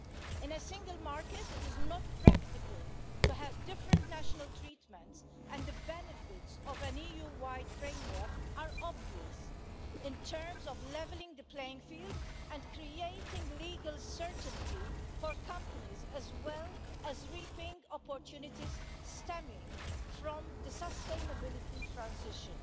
In a single market, it is not practical to have different national treatments, and the benefits of an EU wide framework are obvious in terms of levelling the playing field and creating legal certainty for companies, as well as reaping opportunities stemming from the sustainability transition.